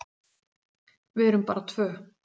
Við erum bara tvö.